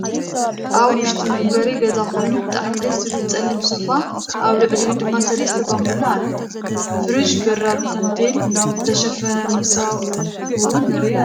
ኣብ ውዕጢ መንበሪ ገዛ ኮይኑ ብጣዕሚ ደስ ዝብል ፀሊም ሰፋን ኣብ ልዕልዩኡ ድማ ሰለስተ ቦንቡላ አሎ። ፍሩጅን በራድ ታንቴል ዝተሸፈነ መሰው እውን ንሪኢ ኣለና።